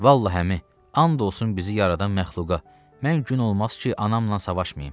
Vallah əmi, and olsun bizi yaradan məxluqa, mən gün olmaz ki, anamla savaşmayım.